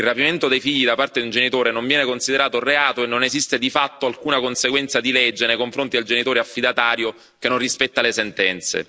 Il rapimento dei figli da parte di un genitore non viene considerato reato e non esiste di fatto alcuna conseguenza di legge nei confronti del genitore affidatario che non rispetta le sentenze.